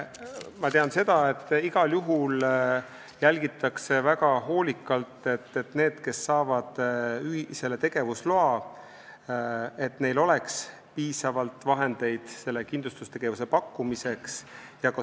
Ma tean, et igal juhul jälgitakse väga hoolikalt, et neil, kes saavad selle tegevusloa, oleks piisavalt vahendeid ja suutlikkus kindlustusteenuse pakkumiseks.